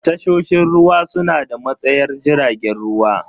Tashoshin ruwa suna da matsayar jiragen ruwa.